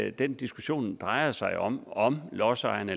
at den diskussion drejer sig om om lodsejerne